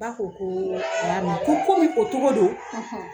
Ba ko ko kooo a ya mɛn, ko komi o togo don;